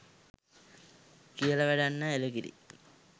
කියල වැඩක් නෑ.එළ කිරි